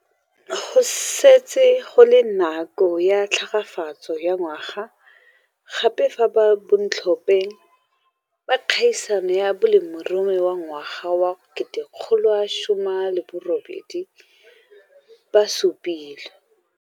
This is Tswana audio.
Go setse go le nako ya tlhagafatso ya ngwaga gape fa bantlhopheng ba kgaisano ya Molemirui wa Ngwaga wa 2018 ba supilwe.